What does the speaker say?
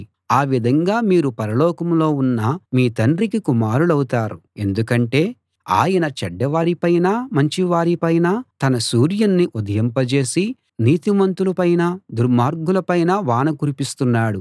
ఆ విధంగా మీరు పరలోకంలో ఉన్న మీ తండ్రికి కుమారులవుతారు ఎందుకంటే ఆయన చెడ్డవారిపైనా మంచివారిపైనా తన సూర్యుణ్ణి ఉదయింపజేసి నీతిమంతులపైనా దుర్మార్గులపైనా వాన కురిపిస్తున్నాడు